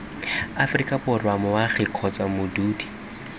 aforika borwa moagi kgotsa modudi